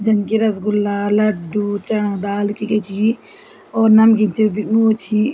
जन की रसगुल्ला लड्डू चणा दाल क्य क्या छी और नमकीन च वु छी।